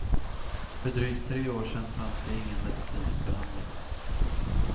För drygt tre år sedan fanns ingen medicinsk behandling.